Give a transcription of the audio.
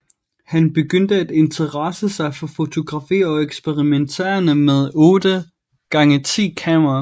Han begyndte at interessere sig for fotografi og eksperimenterede med et 8 x 10 kamera